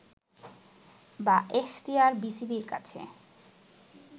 বা এখতিয়ার বিসিবির আছে